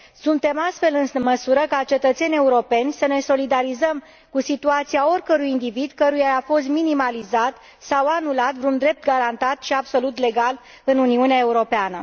Suntem în măsură, ca cetățeni europeni, să ne solidarizăm cu situația oricărui individ căruia i a fost minimalizat sau anulat vreun drept garantat și absolut legal în Uniunea Europeană.